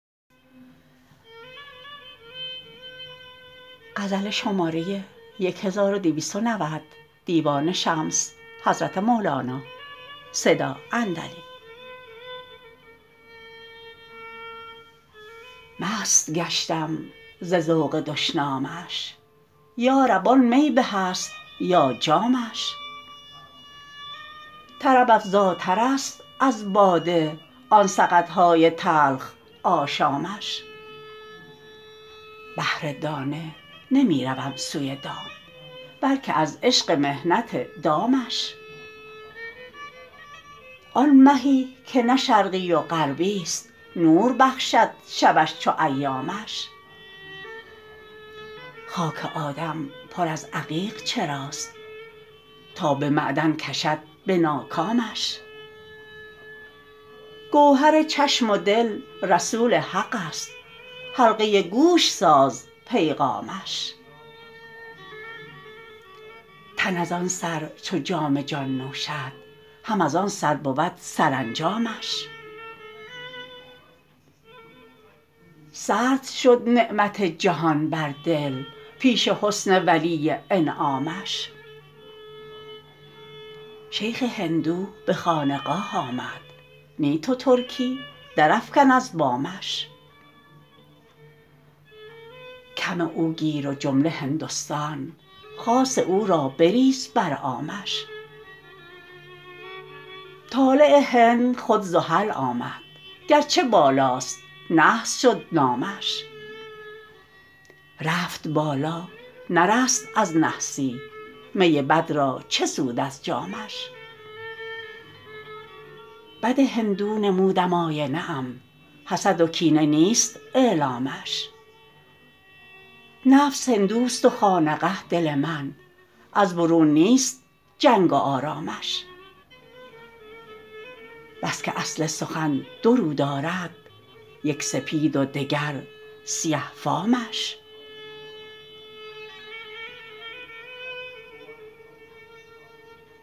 مست گشتم ز ذوق دشنامش یا رب آن می به است یا جامش طرب افزاترست از باده آن سقط های تلخ آشامش بهر دانه نمی روم سوی دام بلک از عشق محنت دامش آن مهی که نه شرقی و غربی ست نور بخشد شبش چو ایامش خاک آدم پر از عقیق چراست تا به معدن کشد به ناکامش گوهر چشم و دل رسول حقست حلقه گوش ساز پیغامش تن از آن سر چو جام جان نوشد هم از آن سر بود سرانجامش سرد شد نعمت جهان بر دل پیش حسن ولی انعامش شیخ هندو به خانقاه آمد نی تو ترکی درافکن از بامش کم او گیر و جمله هندوستان خاص او را بریز بر عامش طالع هند خود زحل آمد گرچه بالاست نحس شد نامش رفت بالا نرست از نحسی می بد را چه سود از جامش بد هندو نمودم آینه ام حسد و کینه نیست اعلامش نفس هندوست و خانقه دل من از برون نیست جنگ و آرامش بس که اصل سخن دو رو دارد یک سپید و دگر سیه فامش